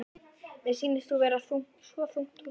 Mér sýnist þú vera svo þungt hugsi.